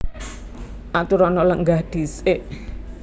Aturana lenggah dhisik